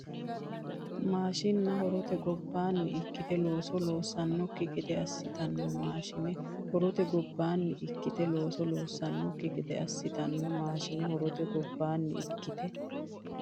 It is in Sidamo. Maashiinna horote gobbaanni ikkite looso loossannokki gede assitanno Maashiinna horote gobbaanni ikkite looso loossannokki gede assitanno Maashiinna horote gobbaanni ikkite.